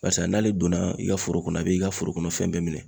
Barisa n'ale donna i ka foro kɔnɔ a b'i ka foro kɔnɔ fɛn bɛɛ minɛ.